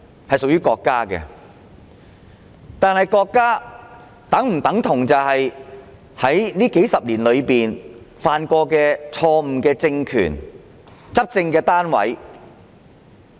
是屬於國家的，但國家是否等同這數十年來曾犯下錯誤的政權和執政單位？